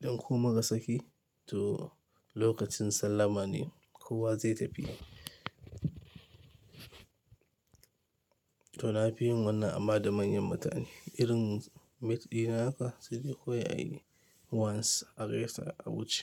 idan koh muka saki. To lokacin sallama ne kuwa zai tafi. To na fi yin wannan amma da manyan mutane. Irin mate ɗina haka sai dai kowai a yi once a gaisa a wuce.